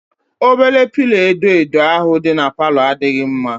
Obere pilo edo edo ahụ dị n'palo adịghị mma